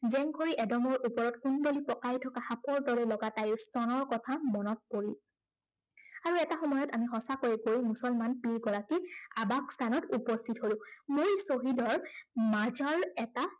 জেংখৰি এদমৰ ওপৰত কুন্দ্লী পঁকাই থকা সাপৰ দৰে লগা তাইৰ স্তনৰ কথা মনত পৰিল। আৰু এটা সময়ত আমি সঁচাকৈয়ে গৈ মুছলমান পীড় গৰাকীৰ আৱাস স্থানত উপস্থিত হলো। মূল শ্বহীদৰ মাজাৰ এটা